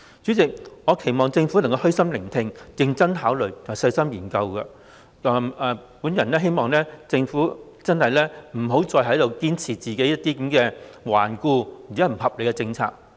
主席，我期望政府虛心聆聽，認真考慮，以及細心研究，我希望政府不要再堅持頑固和不合理的政策。